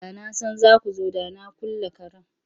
Da na san za ku zo da na kulle karen.